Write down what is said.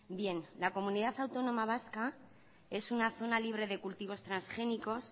bien la comunidad autónoma vasca es una zona libre de cultivos transgénicos